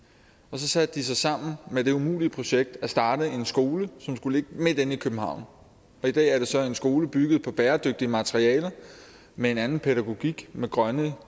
så satte sig sammen med det umulige projekt at starte en skole som skulle ligge midt inde i københavn i dag er det så en skole bygget på bæredygtige materialer med en anden pædagogik med grønne